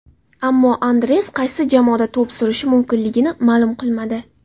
Ammo Andres qaysi jamoada to‘p surishi mumkinligini ma’lum qilmadi.